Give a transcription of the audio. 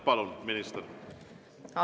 Palun, minister!